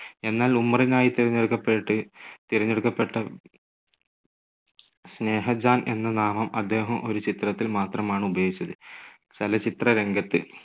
എന്നാൽ ഉമ്മറിനായി തിരഞ്ഞെടുക്കപ്പെട്ട്, തിരഞ്ഞെടുക്കപ്പെട്ട സ്നേഹജാൻ എന്ന നാമം അദ്ദേഹം ഒരു ചിത്രത്തിൽ മാത്രമാണ് ഉപയോഗിച്ചത്. ചലച്ചിത്രരംഗത്ത്.